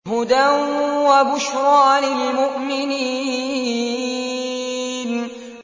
هُدًى وَبُشْرَىٰ لِلْمُؤْمِنِينَ